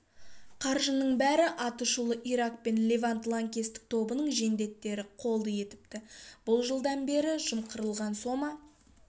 қаржының бәрін атышулы ирак пен левант лаңкестік тобының жендеттері қолды етіпті бұл жылдан бері жымқырылған сома